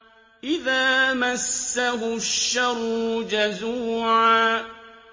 إِذَا مَسَّهُ الشَّرُّ جَزُوعًا